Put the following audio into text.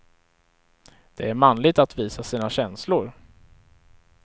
Det är manligt att visa sina känslor.